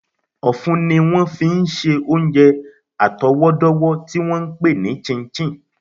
Ọ̀fun ni wọ́n fi ń ṣe oúnjẹ àtọwọ́dọ́wọ́ tí wọ́n ń pè ní chin chin